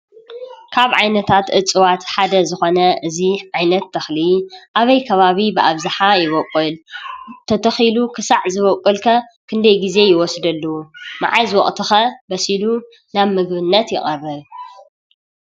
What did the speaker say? ካብ ዓይነታት እፅዋት ሓደ ዝኾነ እዙ ዓይነት ተኽሊ ኣበይ ከባቢ ብኣብዝሓ ይወቊል ተተኺሉ ኽሳዕ ዝበቈልከ ክንደይ ጊዜ ይወስደሉ መኣዝ ወቕትኸ በሲሉ ናብ ምግብነት የቐርብ